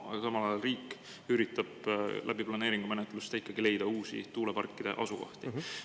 Aga samal ajal riik üritab läbi planeeringumenetluste ikkagi leida uusi tuuleparkide asukohti.